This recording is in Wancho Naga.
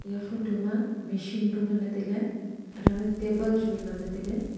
eiya photo ma machine bu ngan ley tailey annow ley table chu wa ngan ley tailey.